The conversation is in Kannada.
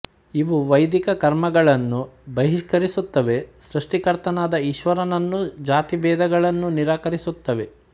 ಇವು ವೈದಿಕ ಕರ್ಮಗಳನ್ನು ಬಹಿಷ್ಕರಿಸುತ್ತವೆ ಸೃಷ್ಟಿಕರ್ತನಾದ ಈಶ್ವರನನ್ನೂ ಜಾತಿಭೇದಗಳನ್ನೂ ನಿರಾಕರಿಸುತ್ತವೆ